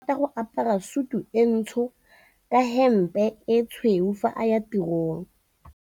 Onkabetse o rata go apara sutu e ntsho ka hempe e tshweu fa a ya tirong.